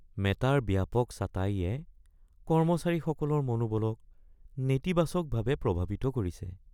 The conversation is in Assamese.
মেটাৰ ব্যাপক ছাটাইয়ে কৰ্মচাৰীসকলৰ মনোবলক নেতিবাচকভাৱে প্ৰভাৱিত কৰিছে